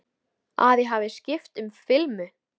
Að ég hafi skipt um filmu.